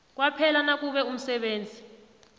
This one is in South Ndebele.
kwaphela nakube umsebenzi